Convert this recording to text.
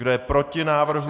Kdo je proti návrhu?